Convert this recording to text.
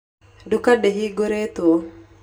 Nduka ndĩhingũrĩtwo.